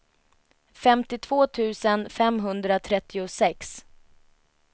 femtiotvå tusen femhundratrettiosex